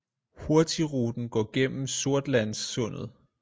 Hurtigruten går gennem sortlandssundet